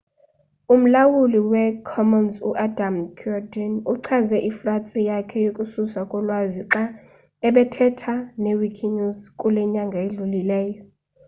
umlawulu wee-commons u-adam cuerden uchaze ifratsi yakhe yokususwa kolwazi xa ebethetha ne-wikinews kule nyanga idlulileyo